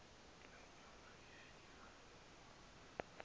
le nyoka iviwe